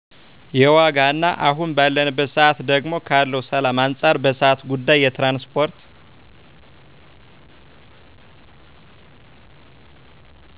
የዋጋ እና አሁን ባለንበት ሰአት ደግሞ ካለው ሰላም አንጻር በሰአት ጉዳይ የትራንስፓርት